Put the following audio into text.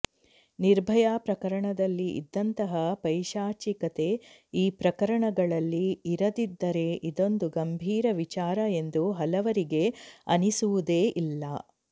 ನಿರ್ಭಯಾ ಪ್ರಕರಣದಲ್ಲಿ ಇದ್ದಂತಹ ಪೈಶಾಚಿಕತೆ ಈ ಪ್ರಕರಣಗಳಲ್ಲಿ ಇರದಿದ್ದರೆ ಇದೊಂದು ಗಂಭೀರ ವಿಚಾರ ಎಂದು ಹಲವರಿಗೆ ಅನಿಸುವುದೇ ಇಲ್ಲ